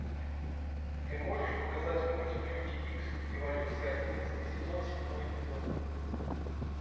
ты можешь показать мультик люди икс эволюция одиннадцатый сезон седьмой эпизод